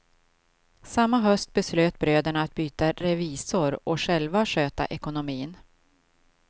Samnma höst beslöt bröderna att byta revisor och själva sköta ekonomin.